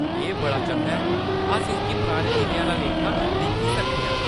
एह्‌‌ बड़ा चंगा ऐ, अस इसगी पुराने दिनें आह्‌ला लेखा दिक्खी सकने आं।